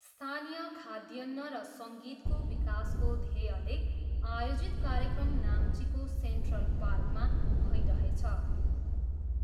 स्थानीय खाद्यान्न र सङ्गीतको विकासको ध्येयले आयोजित कार्यक्रम नाम्चीको सेन्ट्रल पार्कमा भइरहेछ।